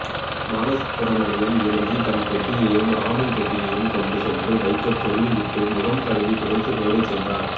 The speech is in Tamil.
பாலசுப்ரமணியன் இறங்கி தன் பெட்டியையும் ராமன் பெட்டியையும் கொண்டு சென்று வைக்கச் சொல்லிவிட்டு முகம் கழுவி துடைத்து மேலே சென்றார்